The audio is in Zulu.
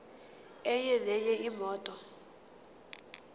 enye nenye imoto